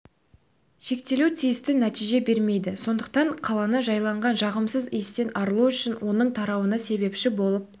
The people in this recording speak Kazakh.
шектелу тиісті нәтиже бермейді сондықтан қаланы жайлаған жағымсыз иістен арылу үшін оның тарауына себепші болып